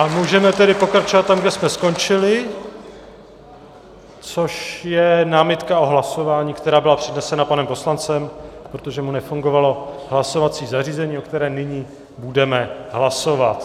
A můžeme tedy pokračovat tam, kde jsme skončili, což je námitka o hlasování, která byla přednesena panem poslancem, protože mu nefungovalo hlasovací zařízení, o které nyní budeme hlasovat.